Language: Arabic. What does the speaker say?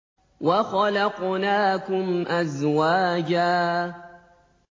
وَخَلَقْنَاكُمْ أَزْوَاجًا